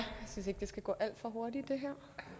skal gå alt for hurtigt så jeg